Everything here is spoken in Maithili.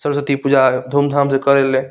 सरस्वती पूजा धूम-धाम से करे ले --